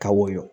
Ka woyo